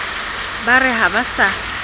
ba re ha ba sa